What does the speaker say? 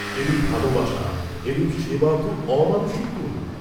এরূপ ভালবাসা, এরূপ সেবা ত অমানুষিক গুণ।